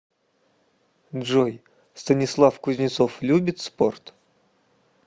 джой станислав кузнецов любит спорт